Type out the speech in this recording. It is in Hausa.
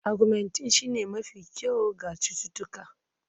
Augmentin shine mafi kyau ga cututtuka